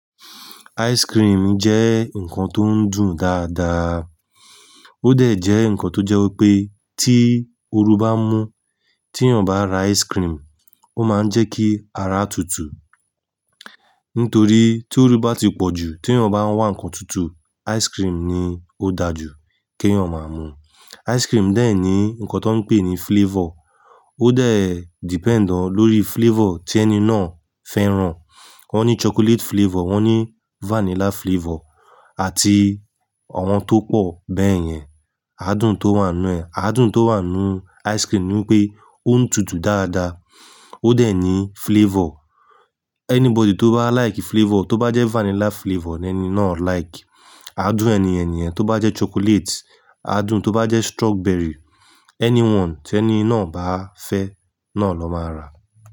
Ice cream jẹ́ nǹkan tó ń dùn dáadáa. Ó dẹ̀ jẹ́ nǹkan tó jẹ́ pé tí oru bá mú, tí èyàn bá ra ice cream, ó máa ń jẹ́ kí ara tútù. Nítorí tí oru bá ti pọ̀ jù, tí èyàn bá ń wá ǹkan tútù, ice cream ni ó dáa jù kí èyàn máa mu. Ice cream dẹ̀ ní nǹkan tó ń pè ní flavor. Ó dẹ̀ depend ọ́ lórí flavor tí ẹni náà fẹ́ràn. Wọ́n ní chocolate flavor, wọ́n ní vanilla flavor àti àwọn tó pọ̀ bẹ́yẹn. Adún tó wà nínú ẹ̀, adún tó wà nínú ice cream ni pé ó ń tutù dáadáa, ó dẹ̀ ní flavor. Anybody tó bá like flavor, tó bá jẹ́ vanilla flavor ní ẹni náà like. Adún ẹni yen ni yen, tó bá jẹ́ chocolate, adùn, tó bá jẹ́ strawberry, anyone tí ẹni náà bá fẹ́ náà na máa rà.